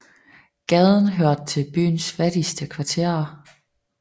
Gaden hørte til byens fattigste kvarterer